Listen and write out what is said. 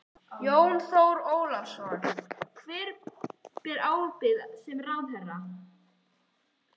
Jón Þór Ólafsson: Hver ber ábyrgð sem ráðherra?